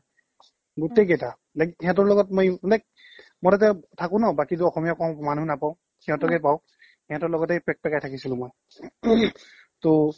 গোটেই কিটা like সিহতৰ লগত মই ইমানে মই তাতে থাকো ন বাকীটো অসমীয়া কও মানুহ নাপাও সিহতকে পাও সিহতৰ লগতে পেকপেকাই থাকিছিলো মই টৌ